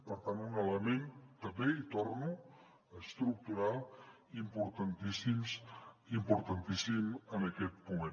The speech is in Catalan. per tant un element també hi torno estructural importantíssim en aquest moment